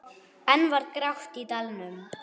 Enn var grátt í dalnum.